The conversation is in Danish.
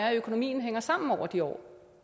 er at økonomien hænger sammen over de år